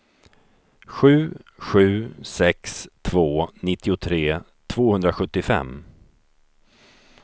sju sju sex två nittiotre tvåhundrasjuttiofem